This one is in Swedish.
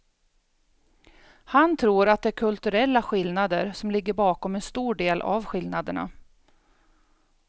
Han tror att det är kulturella skillnader som ligger bakom en stor del av skillnaderna.